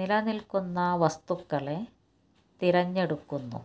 നിലനിൽക്കുന്ന വസ്തുക്കളെ തിരഞ്ഞെടുക്കുന്നു